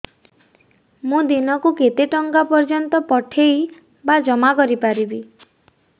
ମୁ ଦିନକୁ କେତେ ଟଙ୍କା ପର୍ଯ୍ୟନ୍ତ ପଠେଇ ବା ଜମା କରି ପାରିବି